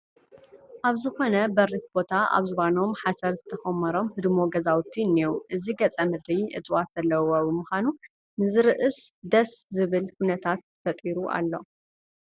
ኣብ ዝኾነ በሪኽ ቦታ ኣብ ዝባኖም ሓሰር ዝተኾመሮም ህድሞ ገዛውቲ እኒዉ፡፡ እዚ ገፀ ምድሪ እፅዋት ዘለዉዎ ብምዃኑ ንዝርእስ ደስ ዝብል ኩነታት ፈጢሩ ኣሎ፡፡